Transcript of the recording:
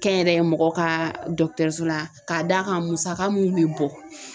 Kɛnyɛrɛye mɔgɔ ka dɔgɔtɔrɔso la k'a d'a kan musaka mun bɛ bɔ